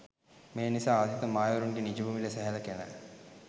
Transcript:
මේනිසා ආදිතම මායාවරුන්ගේ නිජභූමිලෙස සැලකෙන